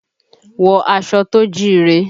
Wọ aṣọ tó jíire!